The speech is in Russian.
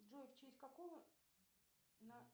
джой в честь какого на